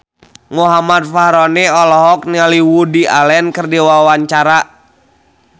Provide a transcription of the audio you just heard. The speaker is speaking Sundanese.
Muhammad Fachroni olohok ningali Woody Allen keur diwawancara